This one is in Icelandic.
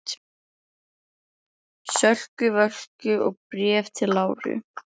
Sölku Völku og Bréfi til Láru.